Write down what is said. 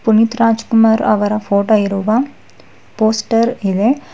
ಪುನೀತ್ ರಾಜ್ ಕುಮಾರ್ ಅವರ ಫೋಟೋ ಇರುವ ಪೋಸ್ಟರ್ ಇವೆ.